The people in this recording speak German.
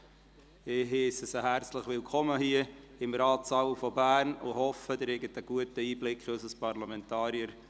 Ich heisse Sie herzlich willkommen hier, im Ratssaal von Bern, und hoffe, Sie erhalten einen guten Einblick in unserer Tun als Parlamentarier.